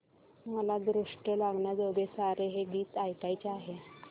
मला दृष्ट लागण्याजोगे सारे हे गीत ऐकायचे आहे